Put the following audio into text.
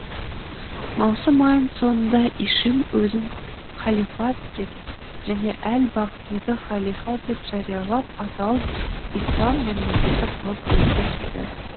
маусым айының соңында ишим өзін халифат деп және әл бағдиді халифа деп жариялап атауын ислам мемлекеті қылып өзгертті